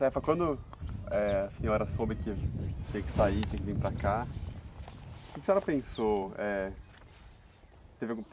Cefa, quando eh a senhora soube que tinha que sair, tinha que vir para cá, o que que a senhora pensou? Eh, teve algum